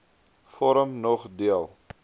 vorm nog deel